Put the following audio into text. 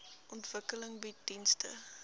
ontwikkeling bied dienste